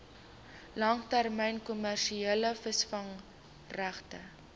langtermyn kommersiële visvangregte